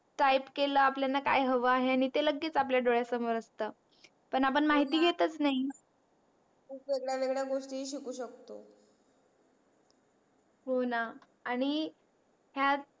type केल आपल्यान काय हव आहे आणि ते लगेच आपल्या डोळ्या सोमर असत. पण आपण महिती घेतच नाही खूप वेगवेगळ्या गोष्टी शिखू शकतो. हो णा आणि हया